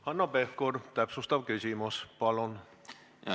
Hanno Pevkur, täpsustav küsimus, palun!